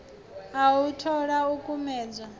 a u thola ikumbedzwa ḓo